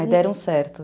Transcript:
Aí deram certo.